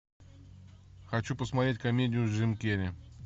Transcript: хочу посмотреть комедию с джим керри